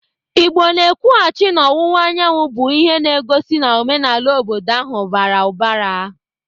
Igbo na-ekwughachi n'ọwụwa anyanwụ, bụ ihe na-egosi na omenala obodo ahụ bara ụbara.